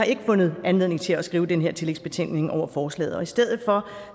ikke fundet anledning til at skrive en tillægsbetænkning over forslaget i stedet for